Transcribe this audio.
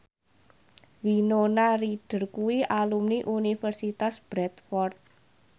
Winona Ryder kuwi alumni Universitas Bradford